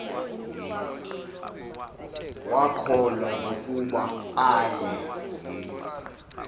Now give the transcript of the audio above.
wakhohlwa nokuba aye